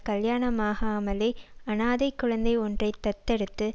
கல்யாணமாகாமலே அனாதை குழந்தை ஒன்றை தத்தெடுத்து